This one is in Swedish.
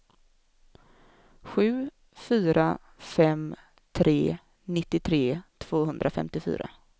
sju fyra fem tre nittiotre tvåhundrafemtiofyra